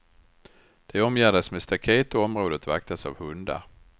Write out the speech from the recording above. De omgärdas med staket och området vaktas av hundar.